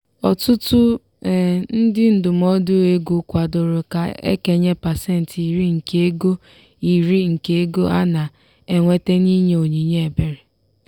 ọtụtụ ndị ndụmọdụ ego kwadoro ka e kenye pasentị iri nke ego iri nke ego a na-enweta n'inye onyinye ebere.